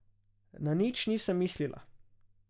Na nič nisem mislila.